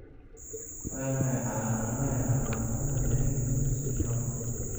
Waa maxay calaamadaha iyo calaamadaha Naegeli syndrome?